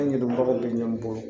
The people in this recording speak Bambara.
An yɛrɛ bagaw be ɲɔn bɔ